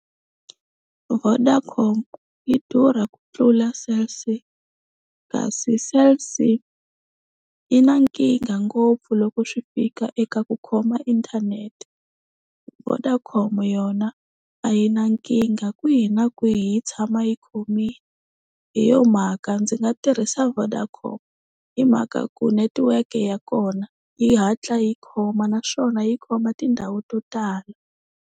Vodacom yi durha ku tlula Cell C kasi Cell C i na nkingha ngopfu loko swi fika eka ku khoma inthanete. Vodacom yona a yina nkingha kwihi na kwihi yi tshama yi khomini hi yo mhaka ndzi nga tirhisa Vodacom hi mhaka ku netiweke ya kona yi hatla yi khoma naswona yi khoma tindhawu to tala.